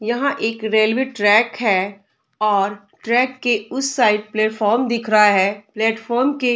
यहाँ एक railway track है और ट्रैक के उस साइड प्लेटफार्म दिख रहा है प्लेटफार्म के --